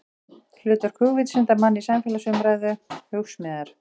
Hlutverk hugvísindamanna í samfélagsumræðu, Hugsmíðar.